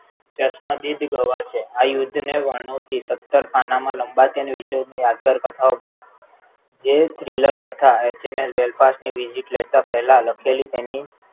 જસમતદ્દીન ગવા છે આ યુદ્ધને વણાવતી સત્તર ખાનામાં લંબાતી અને વિશ્વયુદ્ધ ને યાદગાર કથાઓ ભાગ જે Thriller કથા એચએમએસ Belfast ની visit લેતા પહેલા લખેલી તેની